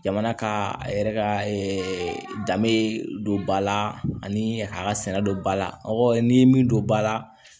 Jamana ka a yɛrɛ ka danbe don ba la ani k'a sɛnɛ don ba la aw ni min don ba la